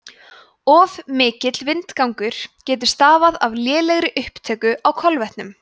of mikill vindgangur getur stafað af lélegri upptöku á kolvetnum